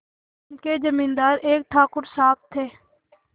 उनके जमींदार एक ठाकुर साहब थे